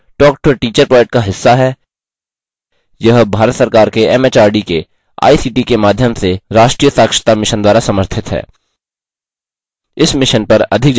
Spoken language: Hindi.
spoken tutorial project talktoa teacher project का हिस्सा है यह भारत सरकार के एमएचआरडी के आईसीटी के माध्यम से राष्ट्रीय साक्षरता mission द्वारा समर्थित है